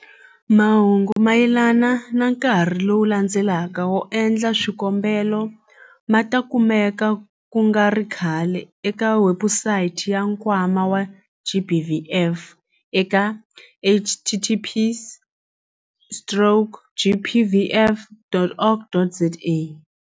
Mahungu mayelana na nkarhi lowu landzelaka wo endla swikombelo ma ta kumeka ku nga ri khale eka webusayiti ya Nkwama wa GBVF eka- https stroke gbvf.org.za.